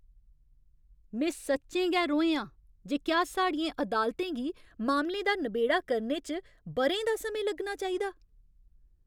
में सच्चें गै रोहें आं जे क्या साढ़ियें अदालतें गी मामलें दा नबेड़ा करने च ब'रें दा समां लग्गना चाहिदा।